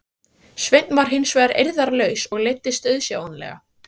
Sveinn var hins vegar eirðarlaus og leiddist auðsjáanlega.